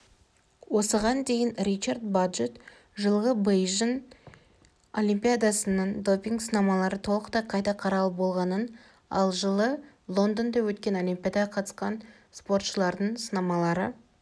осыған дейін ричард баджетт жылғы бейжің олимпиадасының допинг сынамалары толықтай қайта қаралып болғанын ал жылы лондонда өткен олимпиадаға қатысқан спортшылардың сынамалары